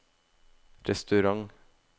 restaurant